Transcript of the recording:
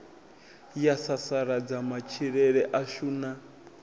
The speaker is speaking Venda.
ya sasaladza matshilele ashu na